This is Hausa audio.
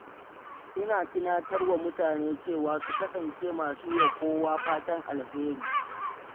Ina tunatar da mutane cewa su kasance masu yi wa kowa fatan alheri.